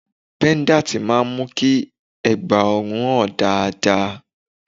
Pẹ́dátì máa ń mú kí ẹ̀gbá ọrùn hàn dáadáa.